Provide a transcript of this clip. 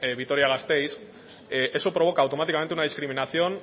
vitoria gasteiz eso provoca automáticamente una discriminación